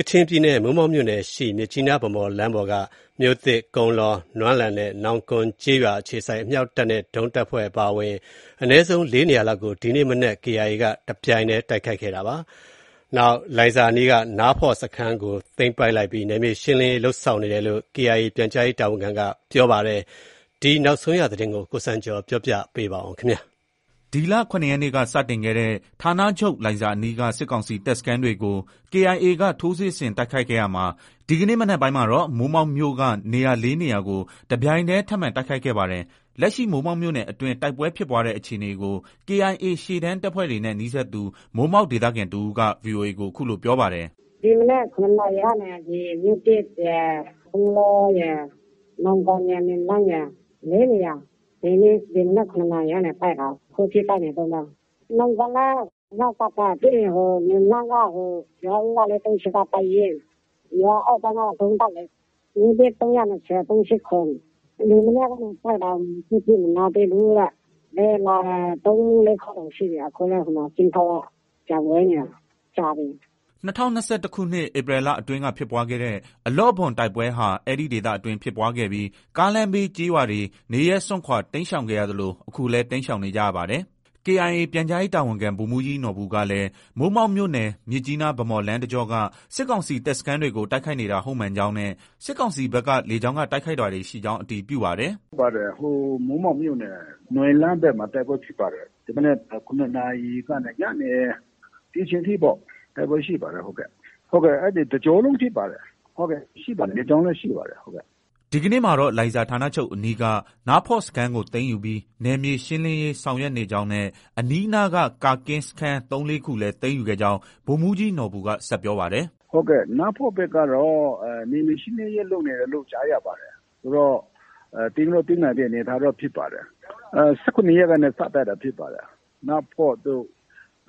ကချင်ပြည်နယ် မိုးမောက်မြို့နယ်ရှိ မြစ်ကြီးနား - ဗန်းမော် လမ်းပေါ်က မြို့သစ်၊ ကုန်းလော၊ နွမ်းလန်းနဲ့နောင်ကွန်ကျေးရွာ အခြေစိုက် အမြောက်တပ်နဲ့ ဒုံးတပ်ဖွဲ့ အပါအဝင် အနည်းဆုံး ၄ နေရာလောက်ကို ဒီမနက်ပိုင်းမှာ KIA က တပြိုင်တည်း တိုက်ခိုက်ခဲ့ပါတယ်။ တချိန်တည်းမှာတော့ လိုင်ဇာအနီးက နားဖော့စခန်းကို သိမ်းပိုက်ပြီး နယ်မြေရှင်းလင်းရေလုပ်ဆောင်နေတယ်လို့ KIA ပြန်ကြားရေးတာဝန်ခံက ပြောပါတယ်။ ကချင်ပြည်နယ်က နောက်ဆုံးရတိုက်ပွဲသတင်းတွေကို ကိုစံကျော် က တင်ပြထားပါတယ်။ ဒီလ ၇ ရက်နေ့က စတင်ခဲ့တဲ့ ဌာနချုပ် လိုင်ဇာအနီးက စစ်ကောင်စီတပ်စခန်းတွေကို KIA က ထိုးစစ်ဆင်တိုက်ခိုက်ခဲ့ရာမှာ ဒီကနေ့မနက်ပိုင်းမှာတော့ မိုးမောက်မြို့က နေရာ ၄ နေရာကို တပြိုင်တည်း ထပ်မံ တိုက်ခိုက်ခဲ့ပါတယ်။ လက်ရှိ မိုးမောက်မြို့နယ်အတွင်း တိုက်ပွဲဖြစ်ပွားတဲ့အခြေအနေကို KIA ရှေ့တန်းတပ်ဖွဲ့တွေနဲ့ နီးစပ်သူ မိုးမောက်ဒေသခံ တဦးက VOA ကို အခုလို ပြောပါတယ်။ “ ဒီမနက် ၇ နာရီကနေ မြို့သစ်ရယ်၊ ကုန်းလောရယ်၊ နောင်ကွန်ရယ်၊ နွမ်းလန်းရယ် ဒီမနက် ၇နာရီကနေ တိုက်တာ အခုထိ တိုက်နေတုံးပဲ။ ၄နေရာ။ နောင်ကွန်လည်း အမြောက်တပ်ပဲ။ ပြီးရင် နွမ်းလန်းက ရွာဦးက ၄၃၈ က တပ်ရင်း၊ ရွာအောက်ပိုင်းကတော့ ဒုံးတပ်လေ။ မြို့သစ် ၃၂၀၊ ၃၈၇။ ဒီမနက်ကနေ တိုက်တာ အခုထိ မနားသေးဘူး တဲ့။ လေယာဉ်လာတယ် ၃- ၄ခေါက်တောင်ရှိပြီ။ အခုလည်း ဟိုမှ ကင်းထောက်က ပျံဝဲနေတာ ကြာပြီ။” ၂၀၂၁ ခုနှစ် ဧပြီလအတွင်း က ဖြစ်ပွားတဲ့ အလော့ဘွမ်တိုက်ပွဲဟာ အဲဒီဒေသအတွင်း ဖြစ်ပွားခဲ့ပြီး ကားလမ်းဘေးကျေးရွာတွေ နေရပ်စွန့်ခွာ တိမ်းရှောင်ခဲ့ရသလို အခုလည်း တိမ်းရှောင်နေကြပါတယ်။ KIA ပြန်ကြားရေးတာဝန်ခံ ဗိုလ်မှုးကြီးနော်ဘူကလည်း မိုးမောက်မြို့နယ် မြစ်ကြီးနား - ဗန်းမော်လမ်းတကြောက စစ်ကောင်စီတပ်စခန်းတွေကို တိုက်ခိုက်နေတာ ဟုတ်မှန်ကြောင်း နဲ့ စစ်ကောင်စီဘက်က လေကြောင်းက တိုက်ခိုက်တာတွေရှိကြောင်း အတည်ပြုပါတယ်။ “ ဟုတ်ပါတယ်။ ဟိုမိုးမောက်မြို့နယ် နွမ်းလန်းဘက်မှာ တိုက်ပွဲဖြစ်ပါတယ်။ ဒီမနက် ၇နာရီကနေ ညနေ ဒီအချိန်ထိပေါ့။ တိုက်ပွဲရှိပါတယ်။ ဟုတ်ကဲ့။ အဲဒီ တကြောလုံးဖြစ်ပါတယ်။ ရှိပါတယ်။ လေကြောင်းလည်း ရှိပါတယ်။ ” ဒီကနေ့မှာတော့ လိုင်ဇာ ဋ္ဌာနချုပ်အနီးက နားဖော့စခန်းကို သိမ်းယူပြီး နယ်မြေရှင်းလင်းရေး ဆောင်ရွက်နေ ကြောင်း နဲ့ အနီးအနားက ကာကင်းစခန်း ၃- ၄ခုလည်း သိမ်းယူခဲ့ကြောင်း ဗိုလ်မှုးကြီးနော်ဘူက ဆက်ပြော ပါတယ်။ “ နားဖော့ဘက်ကတော့ နယ်မြေရှင်းလင်းရေးလုပ်နေတယ်လို့ ကြားရပါတယ်။ ဆိုတော့ သိမ်းလည်း သိမ်းနိုင်တဲ့အနေအထားပဲ ဖြစ်ပါတယ်။ ၁၇ရက်ကနေ စတိုက်တာ ဖြစ်ပါတယ်။ နားဖော့တို့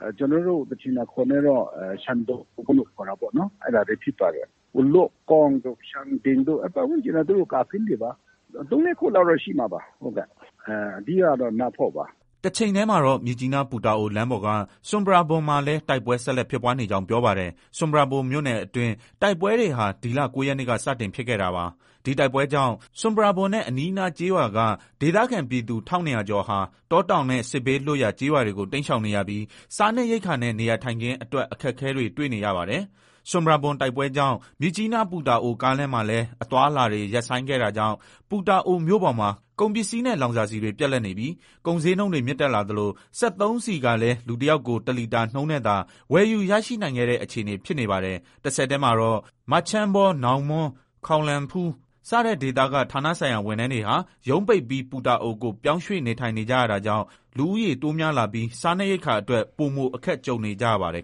၊ ကျနော်တို့ ကချင်အခေါ်နဲ့တော့ ရှန်းတုံလို့ ခေါ်တာပေါ့နော် အဲဒါတွေ ဖြစ်ပါတယ်။ ဝလွတ်ကောင်းတို့ ရှန်တိန်တို့ အဲဒီ ပတ်ဝန်းကျင်က သူတို့ ကာကင်းတွေပါ။ ၃-၄ ခုလောက်တော့ ရှိမှာပါ။ အဓိကကတော့ နားဖော့ပါ။” တချိန်တည်းမှာတော့ မြစ်ကြီးနား- ပူတာအို လမ်းပေါ်က ဆွမ်ပရာဘွမ်မှာလည်း တိုက်ပွဲ ဆက်လက်ဖြစ်ပွားနေကြောင်း ပြောပါတယ်။ ဆွမ်ပရာဘွမ်မြို့နယ်အတွင်း တိုက်ပွဲတွေဟာ ဒီလ ၉ရက်နေ့က စတင်ဖြစ်ခဲ့တာပါ။ ဒီတိုက်ပွဲကြောင့် ဆွမ်ပရာဘွမ်နဲ့ အနီးအနားကျေးရွာက ဒေသခံ ပြည်သူ ၁၂၀၀ကျော်ဟာ တောတောင်နဲ့ စစ်ဘေးလွတ်ရာကျေးရွာတွေကို တိမ်းရှောင်နေရပြီး စားနပ်ရိက္ခာနဲ့ နေရာထိုင်ခင်းအတွက် အခက်အခဲတွေ တွေ့နေရပါတယ်။ ဆွမ်ပရာဘွမ်တိုက်ပွဲကြောင်း မြစ်ကြီးနား - ပူတာအိုကားလမ်းမှာလည်းအသွားအလာတွေ ရပ်ဆိုင်းခဲ့တာကြောင့် ပူတာအိုမြို့ပေါ်မှာ ကုန်ပစ္စည်းနဲ့ လောင်စာဆီတွေ ပြတ်လပ်နေပြီး ကုန်ဈေးနှုန်းတွေ မြင့်တက်လာသလို စက်သုံးဆီကလည်း လူတယောက်ကို တလီတာနှုံးနဲ့သာ ဝယ်ယူရရှိနိုင်တဲ့အခြေအနေ ဖြစ်နေပါတယ်။ တဆက်တည်းမှာတော့ မချမ်းဘော၊ နောင်မွန်း၊ ခေါင်လန်းဖူး စတဲ့ဒေသက ဋ္ဌာနဆိုင်ရာ ဝန်ထမ်းတွေဟာ ရုံးပိတ်ပြီး ပူတာအိုကို ပြောင်းရွှေ့နေထိုင်နေကြတာကြောင့် လူဦးရေ တိုးများလာပြီး စားနပ်ရိက္ခာအတွက် ပိုမို အခက်ကြုံနေကြပါတယ်